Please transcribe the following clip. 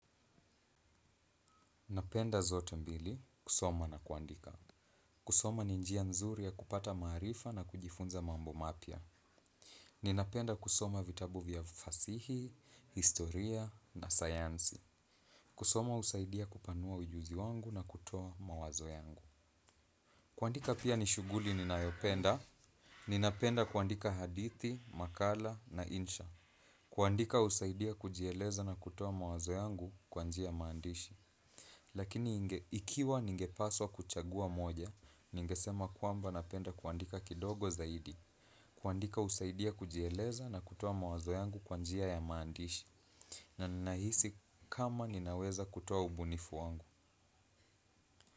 Napenda zote mbili, kusoma na kuandika. Kusoma ni njia nzuri ya kupata maarifa na kujifunza mambo mapya. Ninapenda kusoma vitabu vya fasihi, historia na sayansi. Kusoma usaidia kupanua ujuzi wangu na kutoa mawazo yangu. Kuandika pia nishuguli ninayopenda. Ninapenda kuandika hadithi, makala na insha. Kuandika usaidia kujieleza na kutoa mawazo yangu kwa njia ya maandishi. Lakini ikiwa ningepaswa kuchagua moja, ningesema kwamba napenda kuandika kidogo zaidi, kuandika usaidia kujieleza na kutoa mawazo yangu kwa njia ya maandishi, na nahisi kama ninaweza kutoa ubunifu wangu.